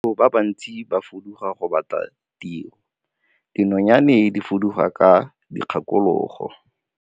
Batho ba bantsi ba fuduga go batla tiro, dinonyane di fuduga ka dikgakologo.